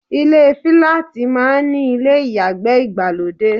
Ilé fíláàtì máa ń ní ilé ìyàgbẹ́ ìgbàlódé.